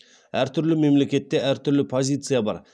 әртүрлі мемлекетте әртүрлі позиция бар